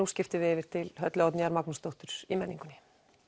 skiptum við yfir til Höllu Oddnýjar Magnúsdóttur í menningunni